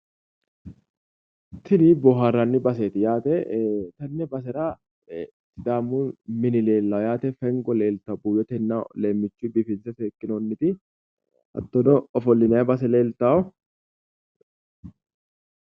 Tini boohaarranni baseeti yaate. tenne basera sidaamu mini leellawo yaate fengo leeltawo buuyyotena leemmichuyi biifinse seekkinoonniti hattono ofollinayi base leeltawo